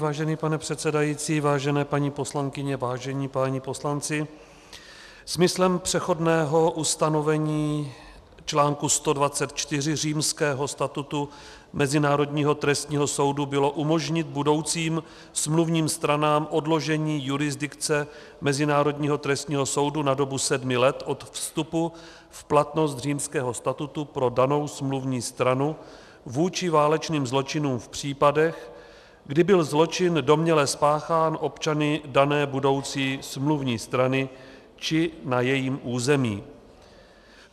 Vážený pane předsedající, vážené paní poslankyně, vážení páni poslanci, smyslem přechodného ustanovení článku 124 Římského statutu Mezinárodního trestního soudu bylo umožnit budoucím smluvním stranám odložení jurisdikce Mezinárodního trestního soudu na dobu sedmi let od vstupu v platnost Římského statutu pro danou smluvní stranu vůči válečným zločinům v případech, kdy byl zločin domněle spáchán občany dané budoucí smluvní strany či na jejím území.